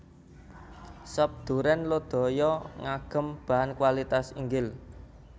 Sop Duren Lodaya ngagem bahan kualitas inggil